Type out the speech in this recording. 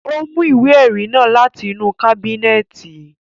Ó mú ìwé ẹrí náà láti inú kábínẹ̀tì